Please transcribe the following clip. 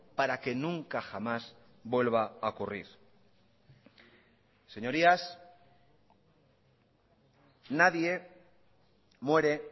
para que nunca jamás vuelva a ocurrir señorías nadie muere